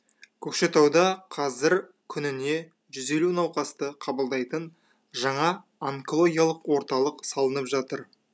көкшетауда қазір күніне жүз елу науқасты қабылдайтын жаңа онкологиялық орталық салынып жатыр